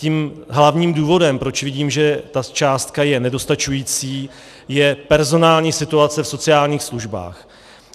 Tím hlavním důvodem, proč vidím, že ta částka je nedostačující, je personální situace v sociálních službách.